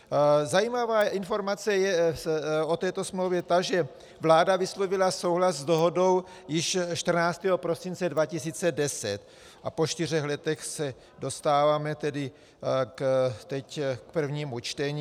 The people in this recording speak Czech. Zajímavá informace je o této smlouvě ta, že vláda vyslovila souhlas s dohodou již 14. prosince 2010 a po čtyřech letech se dostáváme tedy teď k prvnímu čtení.